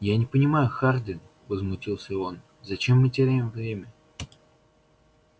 я не понимаю хардин возмутился он зачем мы теряем время